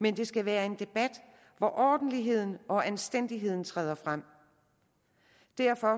men det skal være en debat hvor ordentligheden og anstændigheden træder frem derfor